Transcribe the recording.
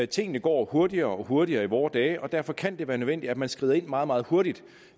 tingene går hurtigere og hurtigere i vore dage og derfor kan det være nødvendigt at man skrider ind meget meget hurtigt